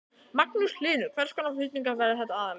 Magnús Hlynur: Hvers konar flutningar verða þetta aðallega?